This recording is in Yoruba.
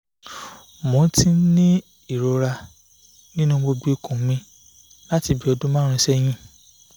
mo ti n ni irora ninu gbogbo ikun mi lati bi odun marun seyin